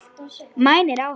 Mænir á hann.